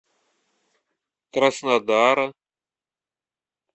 краснодара